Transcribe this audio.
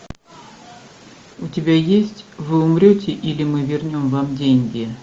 у тебя есть вы умрете или мы вернем вам деньги